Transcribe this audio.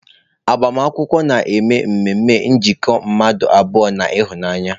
Agbamakwụkwọ na-eme ememe njikọ nke mmadụ abụọ na ịhụnanya.